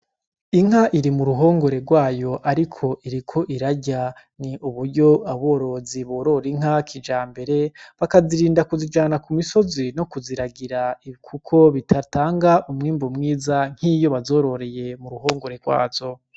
Inka iri mu ruhongore rwayo ariko iriko irarya. Ni uburyo aborozi borora inka za kijambere, bakazirinda kuzijana ku misozi no kuziragira kuko bidatanga umwimbu mwiza nk'iyo bazororeye mu ruhongore rwazo.